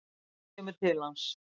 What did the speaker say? Hún kemur til hans.